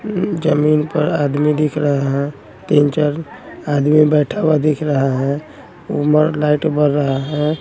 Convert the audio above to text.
अम्म जमीन पर आदमी दिख रहा हैं तीन चार आदमी बैठा हुआ दिख रहा हैं ऊपर लाइट बर रहा हैं।